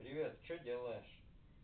привет что делаешь